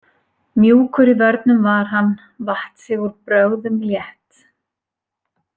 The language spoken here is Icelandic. Mjúkur í vörnum var hann vatt sig úr brögðum létt.